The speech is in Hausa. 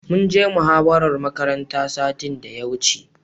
Mun je muhawarar makaranta satin da ya wuce.